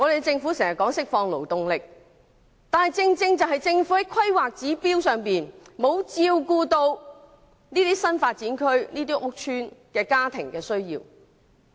政府經常說要釋放勞動力，但《規劃標準》卻完全沒有照顧這些新發展區屋邨家庭的需要。